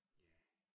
Ja